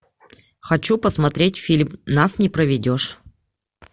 хочу посмотреть фильм нас не проведешь